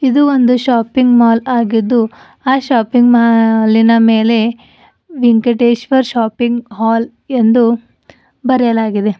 ಇದು ಒಂದು shopping mall ಆಗಿದ್ದು ಆ ಶಾಪಿಂಗ್ ಮಾಲಿನ ಮೇಲೆ ವೆಂಕಟೇಶ್ವರ ಶಾಪಿಂಗ್ ಹಾಲ್ ಎಂದು ಬರೆಯಲಾಗಿದೆ.